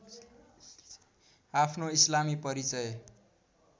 आफ्नो इस्लामी परिचय